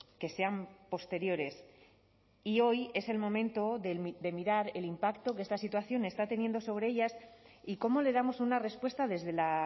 que sean posteriores y hoy es el momento de mirar el impacto que esta situación está teniendo sobre ellas y cómo le damos una respuesta desde la